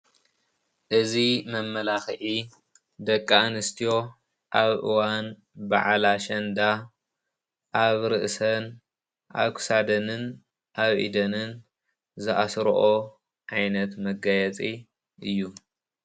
እዚ መመላኽዒ ደቂ ኣንስትዮ ኣብ እዋን በዓል ኣሸንዳ ኣብ ርእሰን ፣ ኣብ ክሳደንን ኣብ ኢደንን ዝኣስረኦ ዓይነት መጋየፂ እዩ፡፡